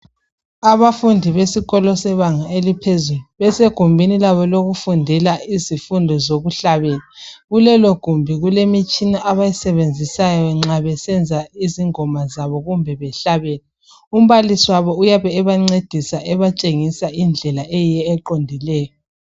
abafundi besikolo sebanga eliphezulu besegumbini labo lokufundela izifundo zokuhlabela kulelogumbi kulemitshina abayisebenzisayo nxa besenza izingoma zabo kumbe behlabela umbalisi wabo uyabe ebancedisa ebatshengisa indlela eyiyo eqondileyo